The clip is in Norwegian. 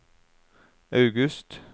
august